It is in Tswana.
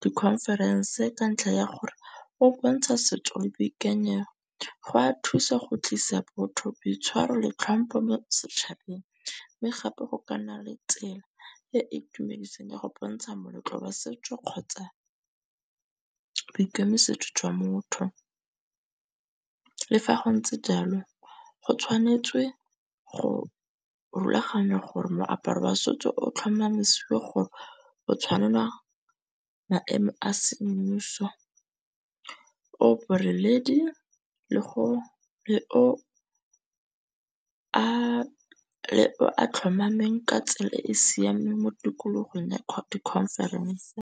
di-conference ka ntlha ya gore o bontsha setso boikanyego go a thusa go tlisa botho boitshwaro le tlhompho mo setšhabeng. Mme gape go ka nna le tsela ee itumedisang ya go bontsha moletlo wa setso kgotsa boikemisetso jwa motho. Le fa go ntse jalo go tshwanetse go rulaganya gore moaparo wa setso o tlhomamisiwa gore go tshwanela maemo a semmuso o boreledi le go le o a a tlhomameng ka tsela e e siameng mo tikologong ya conference.